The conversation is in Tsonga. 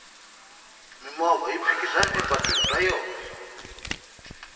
mimovha yi phikizana epatwini ra yona